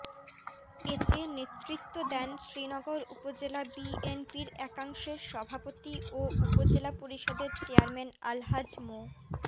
এতে নেতৃত্ব দেন শ্রীনগর উপজেলা বিএনপির একাংশের সভাপতি ও উপজেলা পরিষদের চেয়ারম্যান আলহাজ মো